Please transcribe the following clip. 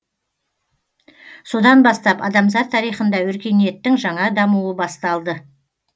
содан бастап адамзат тарихында өркениеттің жаңа дамуы басталды